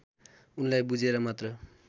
उनलाई बुझेर मात्र